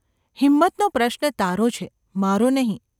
‘હિંમતનો પ્રશ્ન તારો છે, મારો નહિ.